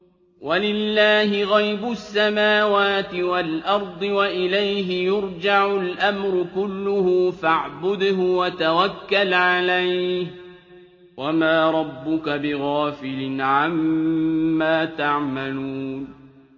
وَلِلَّهِ غَيْبُ السَّمَاوَاتِ وَالْأَرْضِ وَإِلَيْهِ يُرْجَعُ الْأَمْرُ كُلُّهُ فَاعْبُدْهُ وَتَوَكَّلْ عَلَيْهِ ۚ وَمَا رَبُّكَ بِغَافِلٍ عَمَّا تَعْمَلُونَ